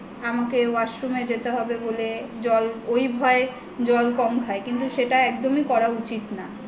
আমাকে washroom এ যেতে হবে বলে ওই ভয়ে জল কম খায় কিন্তু সেটা একদমই করা উচিত না